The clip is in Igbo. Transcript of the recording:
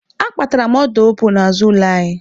Akpatara m ọda opuo n'azụ ụlọ anyị.